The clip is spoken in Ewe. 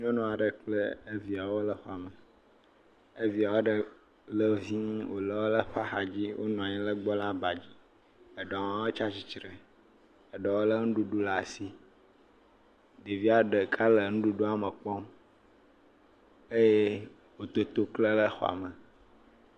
Nyɔnu aɖe kple eviawo le xɔme, evia aɖe le vii wole eƒe axa dzi wonɔ anyi ɖe egbɔ le abadzi eɖewo tsi atsitre eɖewo lé nuɖuɖu ɖe asi, eɖewo le nuɖuɖua me kpɔm, eye ʋetoto klẽ ɖe xɔa me.